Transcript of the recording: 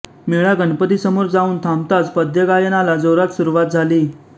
मेळा गणपतीसमोर जाऊन थांबताच पद्यगायनाला जोरात सुरूवात झाली